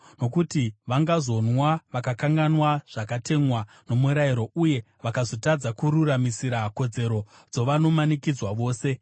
nokuti vangazonwa vakakanganwa zvakatemwa nomurayiro, uye vakazotadza kururamisira kodzero dzavanomanikidzwa vose.